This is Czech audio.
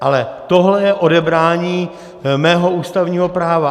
Ale tohle je odebrání mého ústavního práva.